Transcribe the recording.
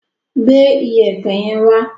Gbé Iyẹ̀pẹ̀ yẹn wá!